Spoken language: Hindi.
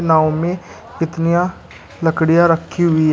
नाव में कितनीयां लकड़ियां रखी हुई है।